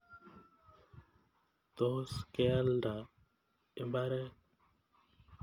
Tos kealda imbaret.